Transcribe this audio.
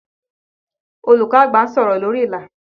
Olùkọ́ àgbà ń sọ̀rọ̀ lórí ìlà